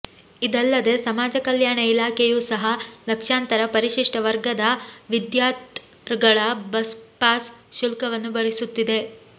ಇದಲ್ಲದೆ ಸಮಾಜ ಕಲ್ಯಾಣ ಇಲಾಖೆಯು ಸಹ ಲಕ್ಷಾಂತರ ಪರಿಶಿಷ್ಟ ವರ್ಗದ ವಿದ್ಯಾಥರ್ಿಗಳ ಬಸ್ಪಾಸ್ ಶುಲ್ಕವನ್ನು ಭರಿಸುತ್ತಿದೆ